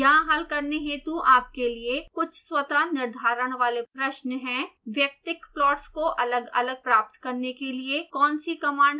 यहाँ हल करने हेतु आपके लिए कुछ स्वतः निर्धारण वाले प्रश्न हैं